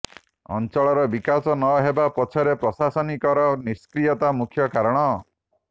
ଅଞ୍ଚଳର ବିକାଶ ନ ହେବା ପଛରେ ପ୍ରଶାସନିକ ର ନିଷ୍କ୍ରିୟତା ମୁଖ୍ୟ କାରଣ